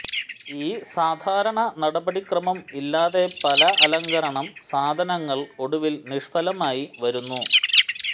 ഈ സാധാരണ നടപടിക്രമം ഇല്ലാതെ പല അലങ്കരണം സാധനങ്ങൾ ഒടുവിൽ നിഷ്ഫലമായി വരുന്നു